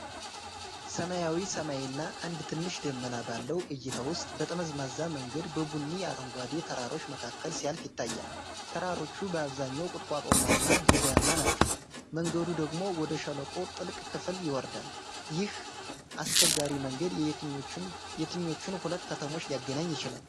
ሰማያዊ ሰማይና አንድ ትንሽ ደመና ባለው እይታ ውስጥ፣ ጠመዝማዛ መንገድ በቡኒና አረንጓዴ ተራሮች መካከል ሲያልፍ ይታያል። ተራሮቹ በአብዛኛው ቁጥቋጦማና ድንጋያማ ናቸው፤ መንገዱ ደግሞ ወደ ሸለቆው ጥልቅ ክፍል ይወርዳል። ይህ አስቸጋሪ መንገድ የትኞቹን ሁለት ከተሞች ሊያገናኝ ይችላል?